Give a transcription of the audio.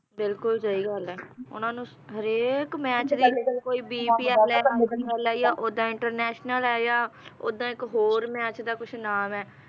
ਬਿਲਕੁਲ ਸਹੀ ਗੱਲ ਹੈ ਉਨ੍ਹਾਂ ਨੂੰ ਹਰੇਕ ਮੈਚ ਦੀ ਕੋਈ bpl ਹੈ ਕੋਈ ipl ਆ ਓਦਾਂ international ਹੈ ਆ ਓਦਾਂ ਇੱਕ ਹੋਰ ਮੈਚ ਦਾ ਕੁਝ ਨਾਮ ਹੈ